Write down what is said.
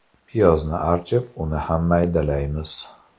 Piyozni archib, uni ham maydalaymiz.